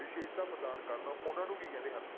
ਵਿਸ਼ੇਸ਼ਤਾ ਪ੍ਰਦਾਨ ਕਰਨ, ਉਹਨਾਂ ਨੂੰ ਕੀ ਕਹਿੰਦੇ ਹਨ